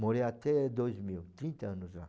Morei até dois mil, trinta anos lá.